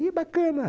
Que bacana.